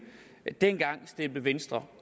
dengang stemte venstre